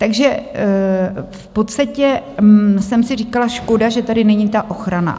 Takže v podstatě jsem si říkala: Škoda že tady není ta ochrana.